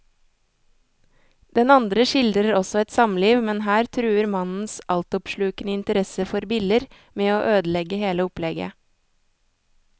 Den andre skildrer også et samliv, men her truer mannens altoppslukende interesse for biller med å ødelegge hele opplegget.